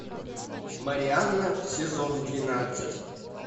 марианна сезон двенадцать